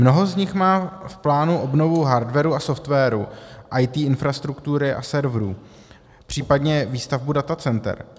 Mnoho z nich má v plánu obnovu hardwaru a softwaru IT infrastruktury a serverů, případně výstavbu datacenter.